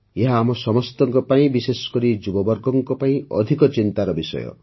ଏହା ଆମ ସମସ୍ତଙ୍କ ପାଇଁ ବିଶେଷକରି ଯୁବବର୍ଗଙ୍କ ପାଇଁ ଅଧିକ ଚିନ୍ତାର ବିଷୟ